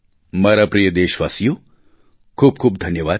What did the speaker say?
મારા પ્રિય દેશવાસીઓ ખૂબ ખૂબ ધન્યવાદ